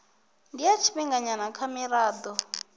ndi ya tshifhinganyana kha mirado